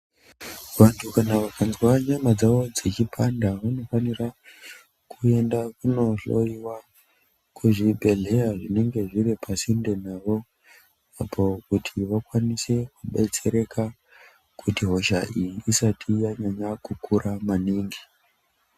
Vantu kana vakanzwa nyama dzavo dzechipanda vanofanira kuenda kunohloiwa kuzvibhedhleya zvinenge zviripasinde navo apo kuti vakwanise kudetsereka kuti hosha iyi isati yanyanya kukira maningi.